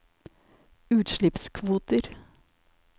utslippskvoter